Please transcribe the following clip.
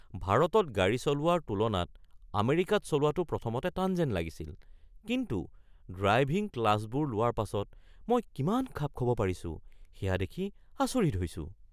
ভাৰতত গাড়ী চলোৱাৰ তুলনাত আমেৰিকাত চলোৱাটো প্ৰথমতে টান যেন লাগিছিল, কিন্তু ড্ৰাইভিং ক্লাছবোৰ লোৱাৰ পাছত মই কিমান খাপ খাব পাৰিছোঁ সেয়া দেখি আচৰিত হৈছোঁ।